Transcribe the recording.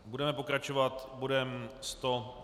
Budeme pokračovat bodem